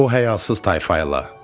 O həyasız tayfa ilə.